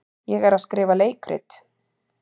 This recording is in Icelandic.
Ég er að skrifa leikrit.